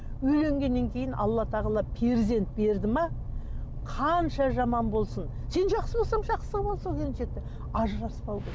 үйленгеннен кейін алла тағала перзент берді ме қанша жаман болсын сен жақсы болсаң жақсы қылып ал сол келіншекті ажыраспау керек